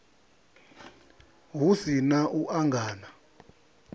hu si na u angana